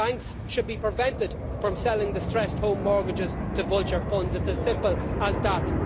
Banks should be prevented from selling distressed home mortgages to vulture funds it's as simple as that.